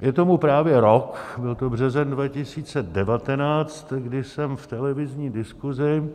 Je tomu právě rok - byl to březen 2019 - kdy jsem v televizní diskuzi